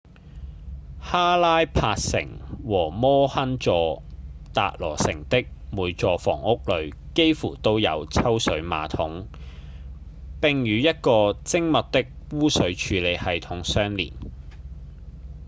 哈拉帕城和摩亨佐-達羅城的每座房屋裡幾乎都有抽水馬桶並與一個精密的污水處理系統相連